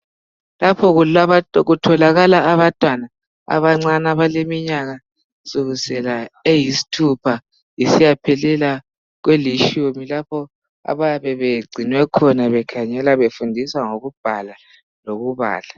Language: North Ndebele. Lapha kutholakala abantwana abancane abaleminyaka kusukisela eyisithupha isiyaphelela kwelitshumi lapho abayabe begcinwe khona bekhangelwa befundiswa ngokubhala lokubala.